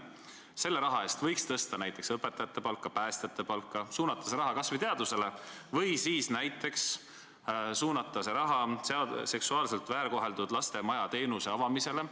Selle raha eest võiks tõsta näiteks õpetajate palka, päästjate palka, suunata see raha kas või teadusele või siis seksuaalselt väärkoheldud laste maja teenuse avamisele.